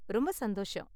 ரொம்ப சந்தோஷம்.